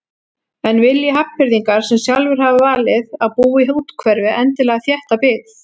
En vilji Hafnfirðingar sem sjálfir hafa valið að búa í úthverfi endilega þétta byggð?